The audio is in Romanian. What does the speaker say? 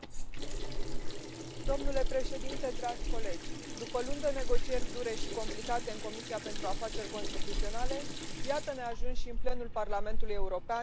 Domnule președinte, dragi colegi, după luni de negocieri dure și complicate în Comisia pentru Afaceri Constituționale, iată ne ajunși în plenul Parlamentului European pentru votul final.